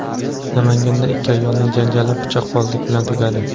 Namanganda ikki ayolning janjali pichoqbozlik bilan tugadi.